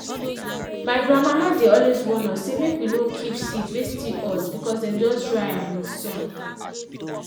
my grandmama dey always warn us say make we not keep seed wey still hot because dem just dry am with sun.